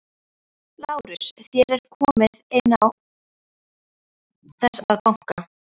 LÁRUS: Þér komið inn án þess að banka.